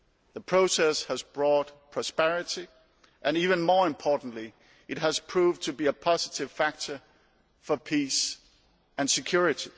The process has brought prosperity and, even more importantly, it has proved to be a positive factor for peace and security.